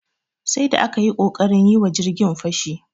Sai da aka yi ƙoƙarin yi wa jirgin fashi.